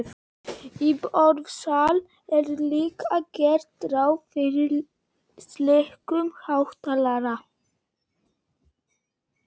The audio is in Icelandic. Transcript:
Í borðsal er líka gert ráð fyrir slíkum hátalara.